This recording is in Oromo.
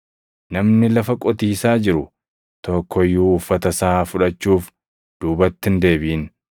Namni lafa qotiisaa jiru tokko iyyuu uffata isaa fudhachuuf duubatti hin deebiʼin.